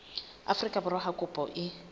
afrika borwa ha kopo e